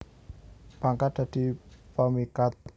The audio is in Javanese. Pangkat dadi pemikat